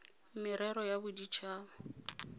merero ya bodit haba le